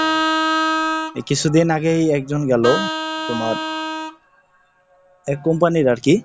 এই কিছুদিন আগেই একজন গেলো তোমার এই Company র আর কি।